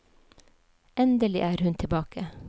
Endelig er hun tilbake!